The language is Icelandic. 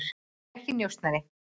Ég er ekki njósnari.